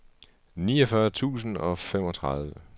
niogfyrre tusind og femogtredive